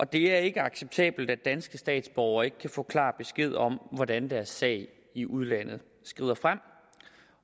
det er ikke acceptabelt at danske statsborgere ikke kan få klar besked om hvordan deres sag i udlandet skrider frem